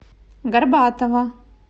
горбатова